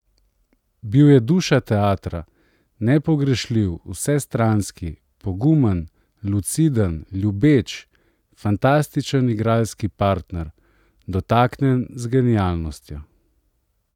Bil je duša teatra, nepogrešljiv, vsestranski, pogumen, luciden, ljubeč, fantastičen igralski partner, dotaknjen z genialnostjo.